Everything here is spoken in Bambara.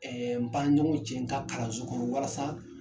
n ba ɲɔgɔn cɛ n ta kalanso kɔnɔ walasa.